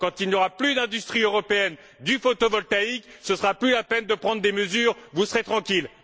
Quand il n'y aura plus d'industrie européenne du photovoltaïque, ce ne sera plus la peine de prendre des mesures vous serez tranquilles!